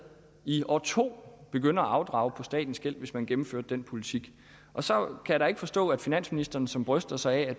i år to begynde at afdrage på statens gæld hvis man gennemførte den politik så kan jeg da ikke forstå at finansministeren som bryster sig af at